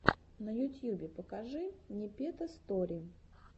на ютьюбе покажи непета стори